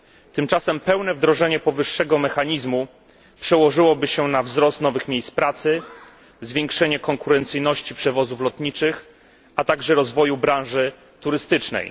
Tymczasem pełne wdrożenie powyższego mechanizmu przełożyłoby się na wzrost liczby nowych miejsc pracy, zwiększenie konkurencyjności przewozów lotniczych, a także rozwój branży turystycznej.